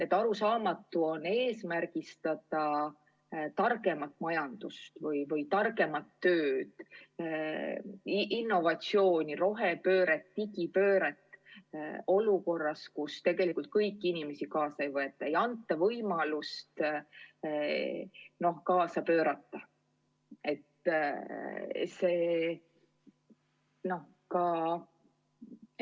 On arusaamatu seada eesmärgiks targem majandus või targem töö, innovatsioon, rohepööre, digipööre, kui meil on olukord, kus tegelikult kõiki inimesi kaasa ei haarata, ei anta kõigile võimalust, noh, koos teistega pöörata.